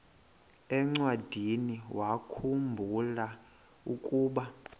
encwadiniwakhu mbula ukuba